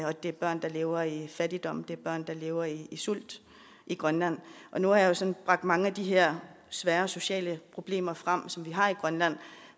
og det er børn der lever i fattigdom og det er børn der lever i sult i grønland nu har jeg sådan bragt mange af de her svære sociale problemer frem som vi har i grønland